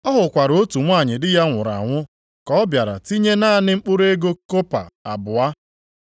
Ọ hụkwara otu nwanyị di ya nwụrụ anwụ ka ọ bịara tinye naanị mkpụrụ ego kọpa abụọ.